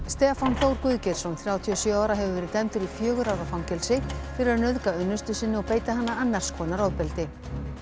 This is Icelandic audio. Stefán Þór Guðgeirsson þrjátíu og sjö ára hefur verið dæmdur í fjögurra ára fangelsi fyrir að nauðga unnustu sinni og beita hana annars konar ofbeldi